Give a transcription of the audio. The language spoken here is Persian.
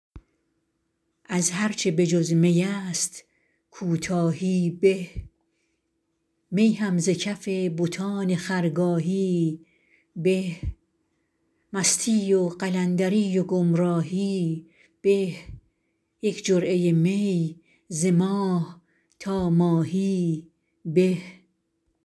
از هرچه بجز می است کوتاهی به می هم ز کف بتان خرگاهی به مستی و قلندری و گمراهی به یک جرعه می ز ماه تا ماهی به